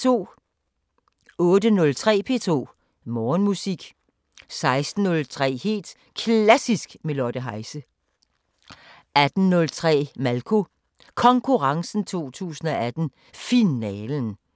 08:03: P2 Morgenmusik 16:03: Helt Klassisk med Lotte Heise 18:03: Malko Konkurrencen 2018 – Finalen